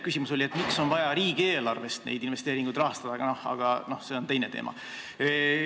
Küsimus oli, miks on vaja neid investeeringuid rahastada riigieelarvest, aga see on teine teema.